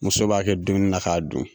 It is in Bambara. Muso b'a kɛ dumuni na k'a dun